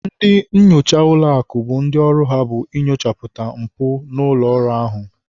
Ndị nnyocha ụlọakụ bụ ndị ọrụ ha bụ inyochapụta mpụ n'ụlọọrụ ahụ.